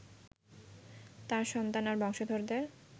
তাঁর সন্তান আর বংশধরদের